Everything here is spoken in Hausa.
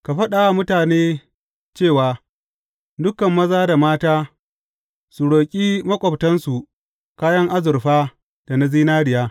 Ka faɗa wa mutane cewa dukan maza da mata, su roƙi maƙwabtansu kayan azurfa da na zinariya.